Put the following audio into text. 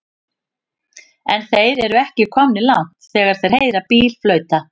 En þeir eru ekki komnir langt þegar þeir heyra bíl flauta.